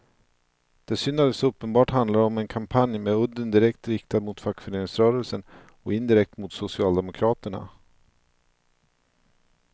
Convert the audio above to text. Det är synd att det så uppenbart handlar om en kampanj med udden direkt riktad mot fackföreningsrörelsen och indirekt mot socialdemokraterna.